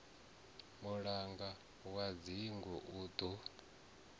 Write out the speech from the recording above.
mulangi wa dzingu u ḓo